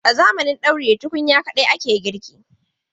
A zamanin dauri da tukunya kawai ake girki.